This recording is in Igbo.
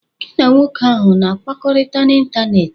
Gị na nwoke ahụ na-akpakorịta n'ịntanetị?